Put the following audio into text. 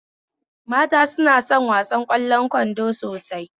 Mata suna son wasar ƙwallon kwando sosai